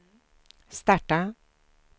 starta